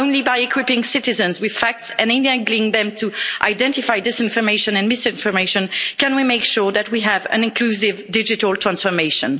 Only by equipping citizens with facts and enabling them to identify disinformation and misinformation can we make sure that we have an inclusive digital transformation.